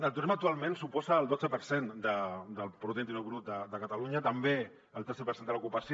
el turisme actualment suposa el dotze per cent del producte interior brut de catalunya també el tretze per cent de l’ocupació